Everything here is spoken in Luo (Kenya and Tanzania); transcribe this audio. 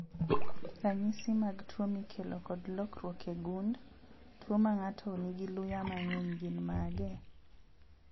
Ranyisi mag tuo mikelo kod lokruok e gund, tuo mang'ato nigi luya mang'eny gin mage?